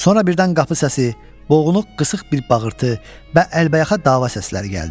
Sonra birdən qapı səsi, boğuq qısıq bir bağırtı və əlbəyaxa dava səsləri gəldi.